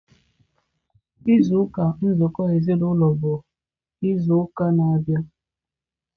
izu ụka nzụkọ ezinaụlọ bụ izu ụka na-abịa.